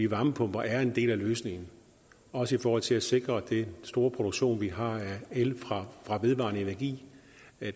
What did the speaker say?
varmepumper er en del af løsningen også i forhold til at sikre den store produktion vi har af el fra vedvarende energi